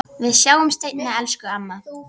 Við sjáumst seinna, elsku amma.